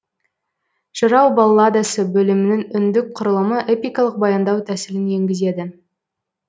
жырау балладасы бөлімінің үндік құрылымы эпикалық баяндау тәсілін енгізеді